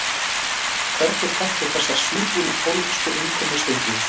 Hvernig kanntu þessari síðbúnu pólitísku innkomu Steingríms?